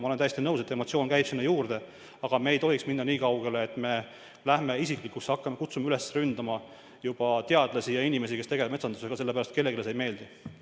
Ma olen täiesti nõus, et emotsioonid käivad sinna juurde, aga me ei tohiks minna nii kaugele, et me läheme isiklikuks ja kutsume üles juba ründama teadlasi ja inimesi, kes tegelevad metsandusega – lihtsalt sellepärast, et kellelegi ei meeldi.